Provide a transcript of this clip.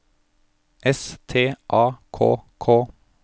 S T A K K